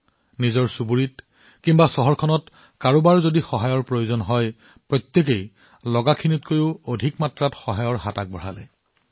আপোনাৰ চুবুৰীয়া বা চহৰৰ কাৰোবাক সহায় কৰিবলৈ আপোনাৰ সামৰ্থতকৈ অধিক কৰিবলৈ চেষ্টা কৰিছিল